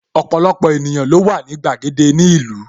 Ọpọlọpọ ènìyàn ló wà ní gbàgede ni ìlú